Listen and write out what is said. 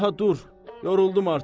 Daha dur, yoruldum artıq.